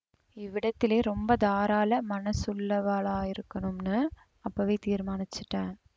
இவ்விடத்திலே ரொம்ப தாராள மனசுள்ளவாளாயிருக்கணும்னு அப்பவே தீர்மானிச்சுட்டேன்